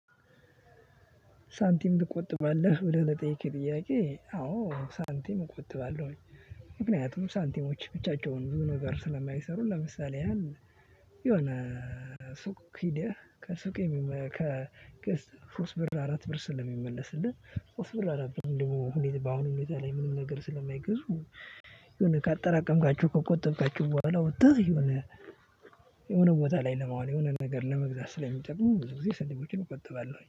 ሳንቲም ትቆጥባለህ ብለህ ለጠየቅክ ጥያቄ አዎ ሳንቲም እቆጥባለሁኝ። ምክንያቱም ሳንቲሞች ብቻቸውን ብዙ ነገር ስለማይሰሩ። ለምሳሌ ያህል የሆነ ሱቅ ኪዲያ ከሱቅ ሶስ ብር አራት ብር ስለሚመለስልህ። ፍሩስ ብር አራት ብር ደግሞ በአሁኑ ሁኔታ ላይ ምንም ነገር ስለማይገዙ። የሆነ ካጠራቀምካችሁ ከቆጠብካችው በኋላ ወጥተህ የሆነ የሆነ የሆነ ቦታ ላይ ለማዋል የሆነ ነገር ለመግዛት ስለሚጠራ ብዙ ጊዜ ስንቆችን እቆጥባለሁ